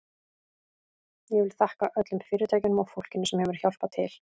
Ég vil þakka öllum fyrirtækjunum og fólkinu sem hefur hjálpað til.